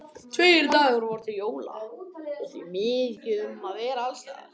Tveir dagar voru til jóla og því mikið um að vera alls staðar.